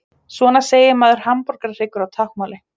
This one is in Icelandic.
Svona segir maður hamborgarhryggur á táknmáli.